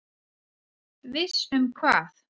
Viss um hvað?